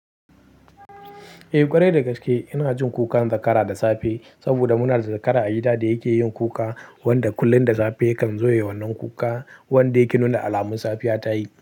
Eh ƙwarai dagaske ina jin kukan zakara da safe saboda muna da zakara a gida da yake yin kuka wanda kullum da safe kan zo ya yi wanan kuka wanda yake nuna alamun safiya tayi.